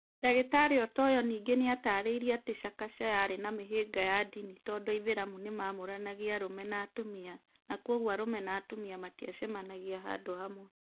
Dr Otoyo nĩngĩ nĩ ataarĩirie atĩ Chakacha yarĩ na mĩhĩnga ya ndini, tondũ aithiramu nĩ maamũranagia arũme na atumia na kwoguo arũme na atumia matiacemanagia handũ hamwe.